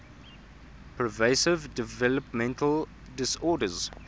pervasive developmental disorders